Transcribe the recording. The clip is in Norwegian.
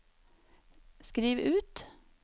skriv ut